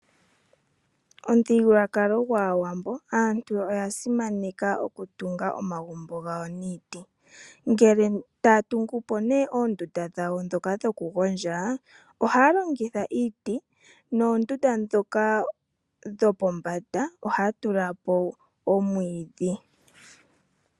Momuthigululwakalo gwAawambo aantu oya simaneka okutunga omagumbo gawo niiti. Ngele taya tungu po oondunda dhawo ndhoka dhokugondja ohaya longitha iiti noondunda ndhoka ohadhi kumbwa nomwiidhi.